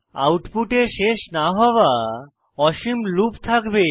আউটপুটে শেষ না হওয়া অসীম লুপ থাকবে